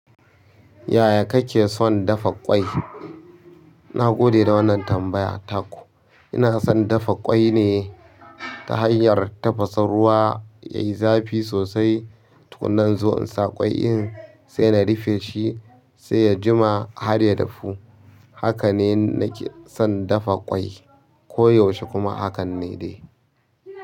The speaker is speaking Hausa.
Yaya kake son dafa ƙwai? Na gode da wannan tambaya ta ku. Ina son dafa ƙwai ne ta hanyar tafasa ruwa yayi zafi sosai. Tukunna in zo in sa ƙwai in sai na rufe shi sai ya jima har ya dafu. Haka ne nake son dafa ƙwai ko yaushe kuma hakan ne dai.